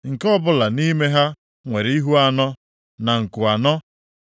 Nke ọbụla nʼime ha nwere ihu anọ, na nku anọ.